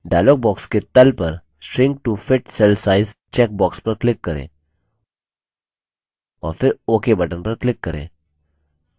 dialog box के तल पर shrink to fit cell size checkbox पर click करें और फिर ok button पर click करें